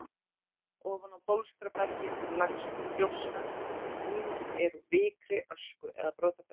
Ofan á bólstrabergið leggst þá gjóska sem ýmist er úr vikri, ösku eða brotabergi.